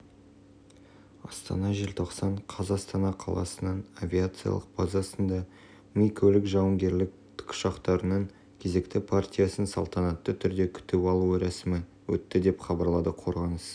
астана желтоқсан қаз астана қаласының авиациялық базасында ми көлік-жауынгерлік тікұшақтарының кезекті партиясын салтанатты түрде күтіп алу рәсімі өтті деп хабарлады қорғаныс